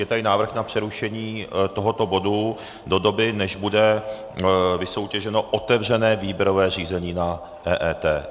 Je tady návrh na přerušení tohoto bodu do doby, než bude vysoutěženo otevřené výběrové řízení na EET.